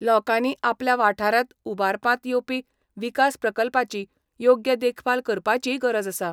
लोकांनी आपल्या वाठारांत उबारपांत येवपी विकास प्रकल्पाची योग्य देखभाल करपाचीय गरज आसा.